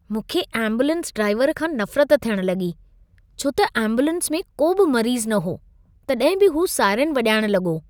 मूंखे ambulance driver खां नफ़रत थियण लॻी, छो त एम्बुलेंस में को बि मरीज़ न हो, तॾहिं बि हू साइरेन वञाइण लॻो।